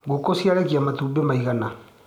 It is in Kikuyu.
Ngũkũ ciarekia matumbĩ maigana.